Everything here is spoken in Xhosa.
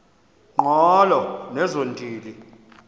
ngqolo nezo ntili